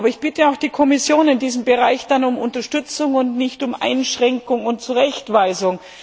Aber ich bitte auch die Kommission in diesem Bereich dann um Unterstützung und nicht um Einschränkung und Zurechtweisung.